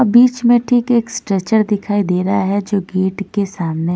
अब बीच में ठीक एक स्ट्रेचर दिखाई दे रहा है जो गेट के सामने--